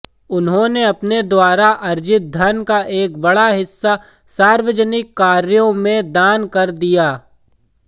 उन्होंने अपने द्वारा अर्जित धन का एक बड़ा हिस्सा सार्वजनिक कार्यों में दान कर दिया